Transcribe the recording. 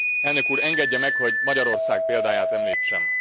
Elnök úr, engedje meg, hogy Magyarország példáját említsem!